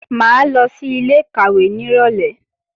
Mà á lọ sí ilé-ìkàwé nírọ̀lé